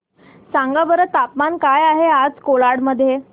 सांगा बरं तापमान काय आहे आज कोलाड मध्ये